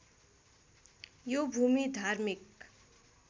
यो भूमि धार्मिक